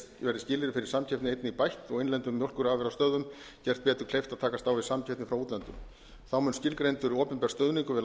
skilyrði fyrir samkeppni einnig bætt og innlendum mjólkurafurðastöðvum gert betur kleift að takast á við samkeppni frá útlöndum þá mun skilgreindur opinber stuðningur við